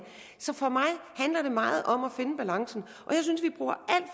så for mig handler det meget om at finde balancen